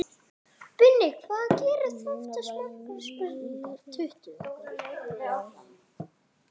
Núna verðum við að halda áfram að gera eins og hann kenndi okkur.